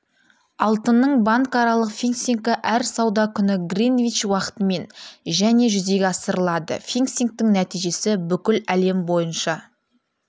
алтынның банкаралық фиксингі әр сауда күні гринвич уақытымен және жүзеге асырылады фиксингтің нәтижесі бүкіл әлем бойынша